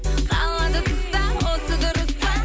қалады тыста осы дұрыс па